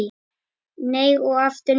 Nei og aftur nei!